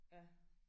Ja